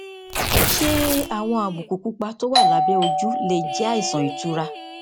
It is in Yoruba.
ṣé àwọn àbùkù pupa tó wà lábé ojú lè jé àìsàn ìtura